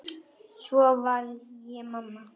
Svo varð ég mamma.